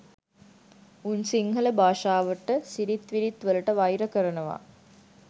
උන් සිංහල භාෂාවට සිරිත්විරිත් වලට වෛර කරනවා